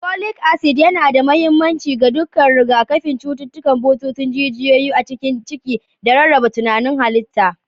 Folic acid yana da mahimmanci ga duka rigakafin cututtukan bututun jijiyoyi a cikin ciki da rarraba tantanin halitta.